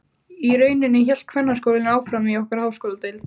Í rauninni hélt kvennaskólinn áfram í okkar háskóladeild.